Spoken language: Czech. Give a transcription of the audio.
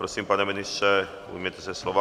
Prosím, pane ministře, ujměte se slova.